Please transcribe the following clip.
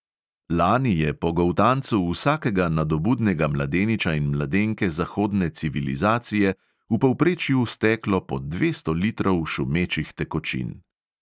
Lani je po goltancu vsakega nadobudnega mladeniča in mladenke zahodne civilizacije v povprečju steklo po dvesto litrov šumečih tekočin.